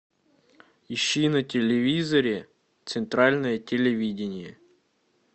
ищи на телевизоре центральное телевидение